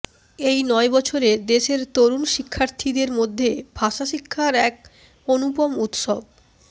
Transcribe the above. এই নয় বছরে দেশের তরুণ শিক্ষার্থীদের মধ্যে ভাষাশিক্ষার এক অনুপম উৎসব